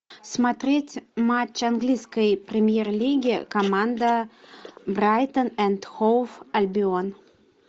смотреть матч английской премьер лиги команда брайтон энд хоув альбион